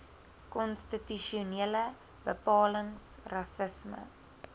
konstitusionele bepalings rassisme